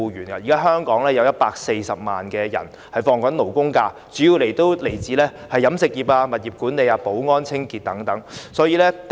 現時香港大約有140萬人放取勞工假期，他們主要從事飲食業、物業管理、保安和清潔工作等。